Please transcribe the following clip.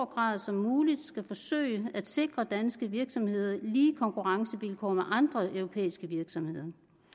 grad som muligt skal forsøge at sikre danske virksomheder lige konkurrencevilkår med andre europæiske virksomheder